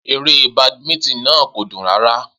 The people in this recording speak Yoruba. Eré badminton náà kò dùn rárá.